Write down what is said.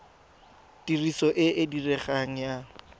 tiriso e e diregang ya